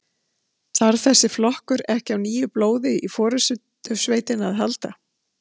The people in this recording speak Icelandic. Þarf þessi flokkur ekki á nýju blóði í forystusveitina að halda?